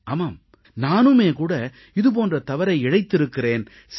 ஆமாம் நானுமே கூட இது போன்ற தவறை இழைத்திருக்கிறேன்